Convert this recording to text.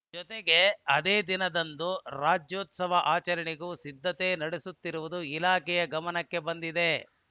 ಜತೆಗೆ ಅದೇ ದಿನದಂದು ರಾಜ್ಯೋತ್ಸವ ಆಚರಣೆಗೂ ಸಿದ್ಧತೆ ನಡೆಸುತ್ತಿರುವುದು ಇಲಾಖೆಯ ಗಮನಕ್ಕೆ ಬಂದಿದೆ